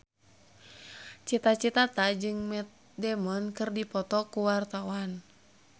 Cita Citata jeung Matt Damon keur dipoto ku wartawan